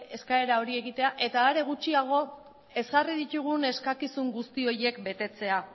eskaera hori egitea eta are gutxiago ezarri ditugun eskakizun guzti horiek betetzea